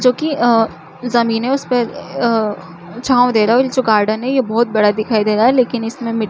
जो की अ जमीने उसपे अ छाँव दे रहा है और ये जो गार्डन है बहोत बड़ा दिखाई दे रहा है लेकिन इसमें मिट--